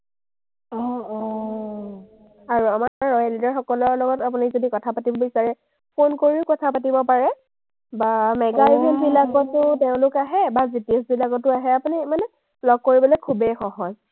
আৰু আমাৰ royal leader সকলৰ লগত আপুনি যদি কথা পাতিব বিচাৰে, ফোন কৰিও কথা পাতিব পাৰে বা mega event বিলাকতো তেওঁলোক আহে বা বিলাকতো আহে, আপুনি মানে লগ কৰিবলে খুবেই সহজ।